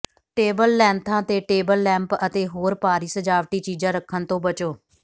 table ਲੈਂਥਾਂ ਤੇ table lamp ਅਤੇ ਹੋਰ ਭਾਰੀ ਸਜਾਵਟੀ ਚੀਜ਼ਾਂ ਰੱਖਣ ਤੋਂ ਬਚੋ